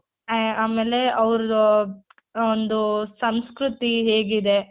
ಆಮೇಲೆ ಅವ್ರು ಆ ಒಂದು ಸಂಸ್ಕೃತಿ ಹೇಗಿದೆ.